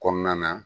Kɔnɔna na